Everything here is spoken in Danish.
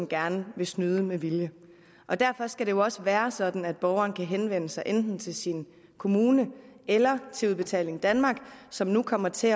gerne vil snyde med vilje og derfor skal det jo også være sådan at borgeren kan henvende sig enten til sin kommune eller til udbetaling danmark som nu kommer til